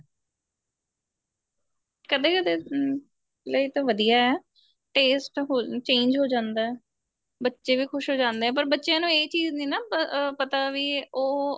ਕਦੇ ਕਦੇ ਹਮ ਲਈ ਤਾਂ ਵਧੀਆ taste change ਹੋ ਜਾਂਦਾ ਬੱਚੇ ਵੀ ਖੁਸ਼ ਹੋ ਜਾਂਦੇ ਏ ਪਰ ਬੱਚਿਆਂ ਨੂੰ ਇਹ ਚੀਜ਼ ਨੀਂ ਨਾ ਪਤਾ ਵੀ ਉਹ